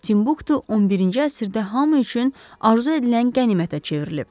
Timbuktu 11-ci əsrdə hamı üçün arzu edilən qənimətə çevrilib.